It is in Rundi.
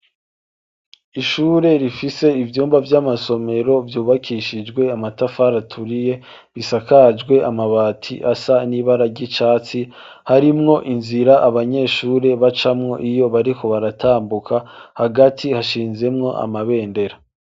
Ishure rifise ivyumba vy'amasomero vyubakishijwe amatafari tauriye bisakajwe amabati asa n'ibara g'icatsi harimwo inzira abanyeshure bacamwo iyo bariko baratambuka hagati hashinzemwo amabendera.